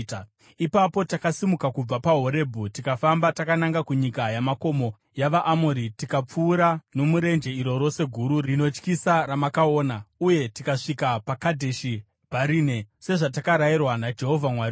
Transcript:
Ipapo takasimuka kubva paHorebhi tikafamba takananga kunyika yamakomo yavaAmori tikapfuura nomurenje iro rose guru rinotyisa ramakaona, uye tikasvika paKadheshi Bharinea, sezvatakarayirwa naJehovha Mwari wedu.